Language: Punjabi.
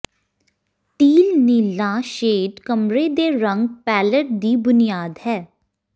ਟੀਲ ਨੀਲਾ ਸ਼ੇਡ ਕਮਰੇ ਦੇ ਰੰਗ ਪੈਲਅਟ ਦੀ ਬੁਨਿਆਦ ਹੈ